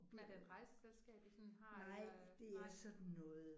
Men er det et rejseselskab I sådan har eller nej